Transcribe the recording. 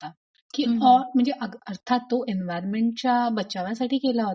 unintelligible अर्थात तो इन्व्हरमेंटच्या बचावासाठी केला होता.